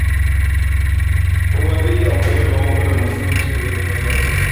Kowa zai iya yin amfani da magungunan Musulunci wajen neman lafiya.